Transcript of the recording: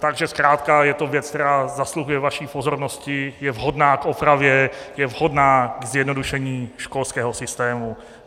Takže zkrátka je to věc, která zasluhuje vaší pozornosti, je vhodná k opravě, je vhodná ke zjednodušení školského systému.